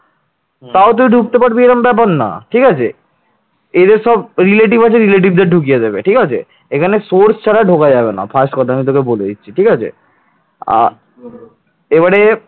এখানে source ছাড়া ঢুকে যাবে না first কথা আমি তোকে বলে দিচ্ছি ঠিক আছে আর এবারে